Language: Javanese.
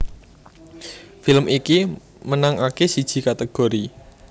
Film iki menangake siji kategori